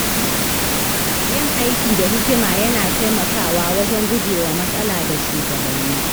Yin aiki da hikima yana taimakawa wajen gujewa matsala da shugabanni.